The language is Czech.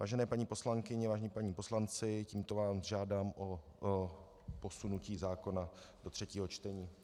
Vážené paní poslankyně, vážení páni poslanci, tímto vás žádám o posunutí zákona do třetího čtení.